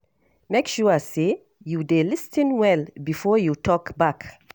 Make sure say you dey lis ten well before you talk back.